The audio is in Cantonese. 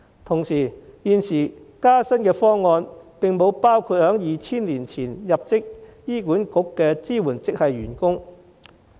同時，現有加薪方案並不包括2000年前入職醫管局的支援職系員工。